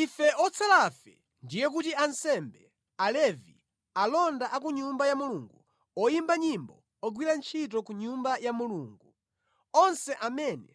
Ife otsalafe, ndiye kuti ansembe, Alevi, alonda a ku Nyumba ya Mulungu, oyimba nyimbo, ogwira ntchito ku Nyumba ya Mulungu, onse amene